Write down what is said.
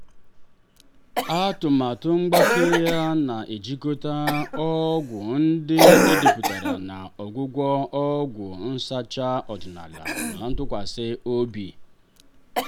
atụmatụ mgbake ya na-ejikọta ọgwụ ndị edepụtara na ọgwụgwọ ọgwụ nsacha ọdịnala a tụkwasịrị obi.